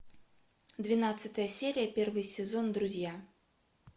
двенадцатая серия первый сезон друзья